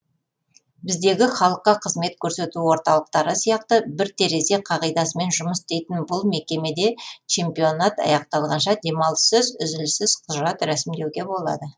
біздегі халыққа қызмет көрсету орталықтары сияқты бір терезе қағидасымен жұмыс істейтін бұл мекемеде чемпионат аяқталғанша демалыссыз үзіліссіз құжат рәсімдеуге болады